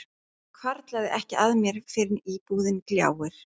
Það hvarflar ekki að mér fyrr en íbúðin gljáir.